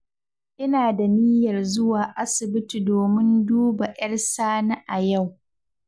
Ina da niyyar zuwa asibiti domin duba 'yar Sani a yau